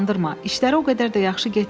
İşləri o qədər də yaxşı getmirdi.